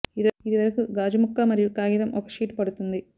ఇది వరకు గాజు ముక్క మరియు కాగితం ఒక షీట్ పడుతుంది